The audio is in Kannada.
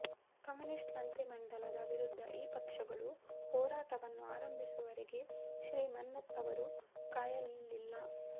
ಕಮ್ಯುನಿಸ್ಟ್ ಮಂತ್ರಿಮಂಡಲದ ವಿರುದ್ಧ ಈ ಪಕ್ಷಗಳು ಹೋರಾಟವನ್ನು ಆರಂಭಿಸುವವರೆಗೆ ಶ್ರೀ ಮನ್ನತ್ ಅವರು ಕಾಯಲಿಲ್ಲ